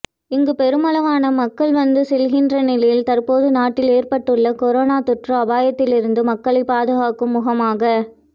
இங்கு பெருமளவான மக்கள் வந்து செல்கின்ற நிலையில் தற்போது நாட்டில் ஏற்பட்டுள்ள கொரோனோ தொற்று அபாயத்திலிருந்து மக்களை பாதுகாக்கும் முகமாக